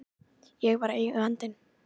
Ég var Eigandinn.